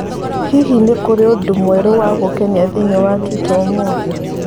Hihi nĩ kũrĩ ũndũ wa mwerũ gũkenania thĩinĩ wa twitter ũmũthĩ?